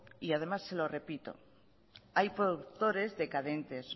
y se lo repito que hay productores decadentes